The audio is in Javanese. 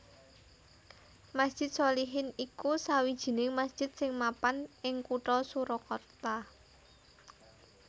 Masjid Sholihin iku sawijining masjid sing mapan ing Kutha Surakarta